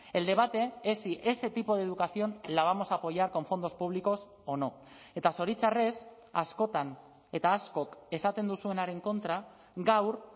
el debate es si ese tipo de educación la vamos a apoyar con fondos públicos o no eta zoritxarrez askotan eta askok esaten duzuenaren kontra gaur